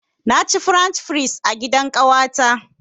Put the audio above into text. Na ci french fries a gidan ƙawata.